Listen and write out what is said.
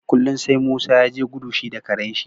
kullun sai Musa yaje gudu shi da Karen shi